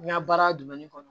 N ka baara kɔnɔ